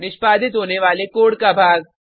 निष्पादित होने वाले कोड का भाग